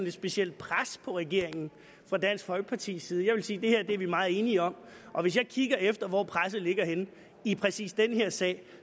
et specielt pres på regeringen fra dansk folkepartis side jeg vil sige at det her er vi meget enige om og hvis jeg kigger efter hvor presset ligger henne i præcis den her sag